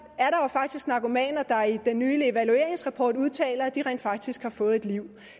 faktisk narkomaner der i den nye evalueringsrapport udtaler at de rent faktisk har fået et liv